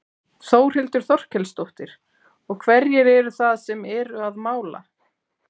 Þórhildur Þorkelsdóttir: Og hverjir eru það sem eru að mála?